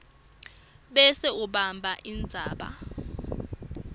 bese ubhala indzaba